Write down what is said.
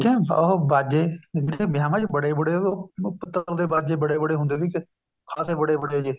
ਉਹ ਬਾਜੇ ਦੇਖੇ ਵਿਆਵਾਂ ਚ ਉਹ ਬਾਜੇ ਬੜੇ ਬੜੇ ਹੁੰਦੇ ਸੀਗੇ ਖ਼ਾਸੇ ਬੜੇ ਬੜੇ ਜ਼ੇ